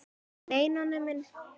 Nei, Nonni minn.